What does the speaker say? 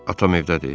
Atam evdədir?